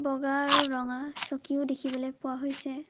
বগা আৰু ৰঙা চকীও দেখিবলৈ পোৱা হৈছে।